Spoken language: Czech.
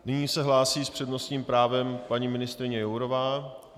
Nyní se hlásí s přednostním právem paní ministryně Jourová.